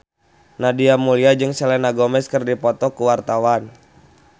Nadia Mulya jeung Selena Gomez keur dipoto ku wartawan